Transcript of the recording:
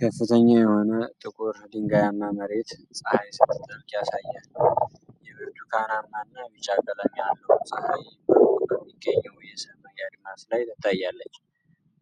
ከፍተኛ የሆነ ጥቁር ድንጋያማ መሬት ፀሐይ ስትጠልቅ ያሳያል። የብርቱካናማና ቢጫ ቀለም ያለው ፀሐይ በሩቅ በሚገኘው የሰማይ አድማስ ላይ ትታያለች።